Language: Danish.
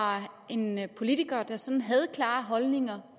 var en politiker der sådan havde klare holdning